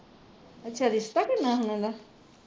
ਅੱਛਾ ਰਿਸ਼ਤਾ ਕਰਨਾ ਹੁਣ ਇਹਦਾ